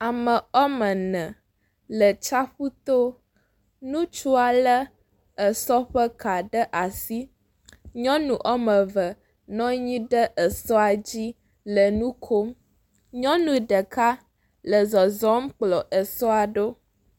Ame wɔ me ene le tsiafu to, nutsua lé esɔ ƒe ka ɖe asi nyɔnu wɔ me eve nɔ anyi ɖe esɔa dzi le nu kom, nyɔnu ɖeka le zɔzɔm kplɔ esɔa ɖo.